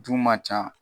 Du man ca